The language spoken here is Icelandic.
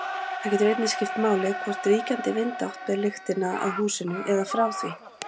Það getur einnig skipt máli hvort ríkjandi vindátt ber lyktina að húsinu eða frá því.